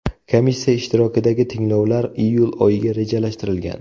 Komissiya ishtirokidagi tinglovlar iyul oyiga rejalashtirilgan.